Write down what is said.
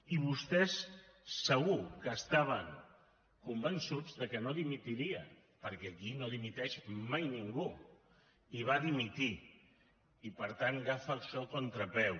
i vostès segur que estaven convençuts de que no dimitiria perquè aquí no dimiteix mai ningú i va dimitir i per tant agafa això a contrapeu